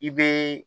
I be